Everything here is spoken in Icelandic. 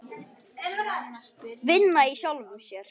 Vinna í sjálfum sér.